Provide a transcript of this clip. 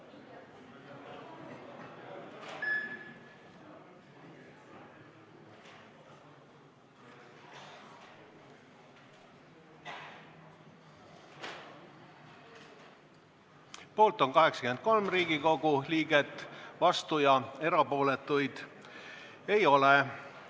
Hääletustulemused Poolt on 83 Riigikogu liiget, vastuolijaid ja erapooletuid ei ole.